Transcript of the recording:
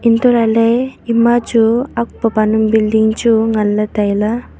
untoh lahley ema chu akpa panang bilding chu nganley tailey.